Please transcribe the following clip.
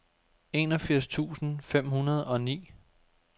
enogfirs tusind fem hundrede og ni